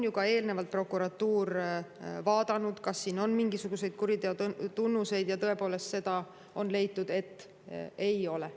Ka eelnevalt ju prokuratuur vaatas, kas siin on mingisuguseid kuriteo tunnuseid, ja tõepoolest leidis, et ei ole.